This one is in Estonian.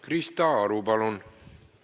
Krista Aru, palun!